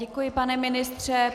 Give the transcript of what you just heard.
Děkuji, pane ministře.